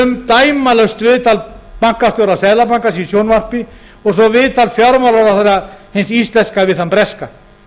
um dæmalaust viðtal bankastjóra seðlabankans í sjónvarpi og svo viðtal fjármálaráðherra hins íslenska við þann breska